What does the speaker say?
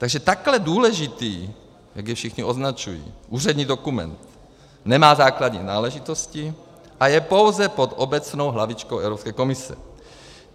Takže takto důležitý, jak jej všichni označují, úřední dokument nemá základní náležitosti a je pouze pod obecnou hlavičkou Evropské komise.